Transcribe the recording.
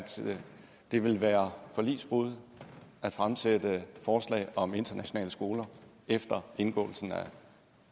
det vil være forligsbrud at fremsætte forslag om internationale skoler efter indgåelsen af